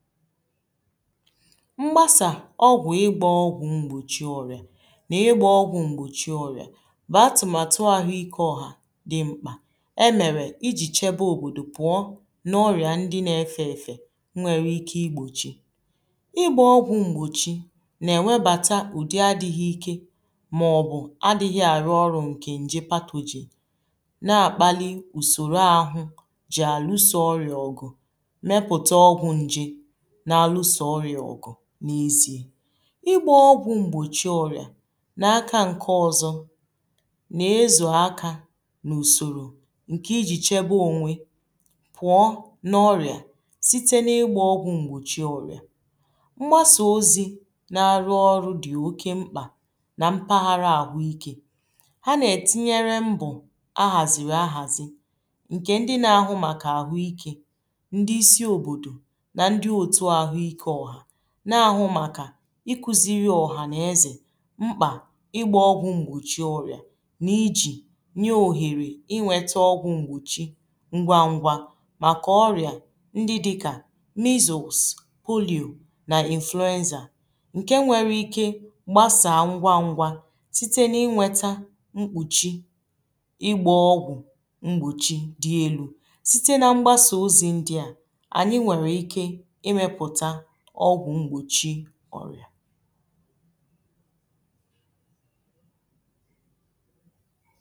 mgbasa ọ̀gwụ̀ ịgbȧ ọgwụ̀ m̀gbòchi ọrịà nà ịgbȧ ọgwụ̀ m̀gbòchi ọrịà bụ atụ̀màtụ àhụ ike ọ̀hà dị mkpà e mèrè ijì chebe òbòdò pụ̀ọ nà ọrịà ndi na-efė efė nwere ike igbòchi ịgbȧ ọgwụ̀ m̀gbòchi nà ènwebàta ụ̀dị adịghị ike mà ọ̀ bụ àdịghị àrụ ọrụ̇ ǹkè nje pathogen na-akpali usòrò àhụ ji àlụso ọrìa ọ̀gụ̀ mepụ̀ta ọgwụ̀ nje n’ezi̇e ịgba ọgwụ̀ m̀gbòchi ọrịà n’aka ǹke ọzọ nà-ezù aka nà ùsòrò ǹkè ijì chebe onwe pụọ̇ nà ọrịà site n’ịgbȧ ọgwụ̀ m̀gbòchi ọrịà ṁgbasà ozi̇ na-arụ ọrụ dị̀ oke mkpà nà mpaghara àhụ ikė ha nà-ètinyere mbò a hàzìrì ahàzi̇ ǹkè ndi na-ahụ màkà àhụ ikė na-ahụ màkà ikuziri ọ̀hànàezè mkpà ịgbȧ ọgwụ̀ m̀gbòchi ọrị̀a na iji nyé òhèrè i nweta ọgwụ̀ m̀gbòchi ngwa ngwȧ màkà ọrị̀a ndị dịkà measles, polio na influenza ǹke nwere ike gbasàa ngwa ngwȧ site n’inwetà mkpùchi ịgbȧ ọgwụ̀ m̀gbòchi dị elu̇ site na mgbasa ozi ndià ọrịà